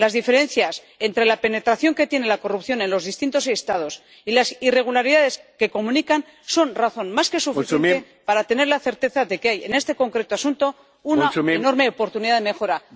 Las diferencias entre la penetración que tiene la corrupción en los distintos Estados y las irregularidades que comunican son razón más que suficiente para tener la certeza de que hay, en este concreto asunto, una enorme oportunidad de mejora.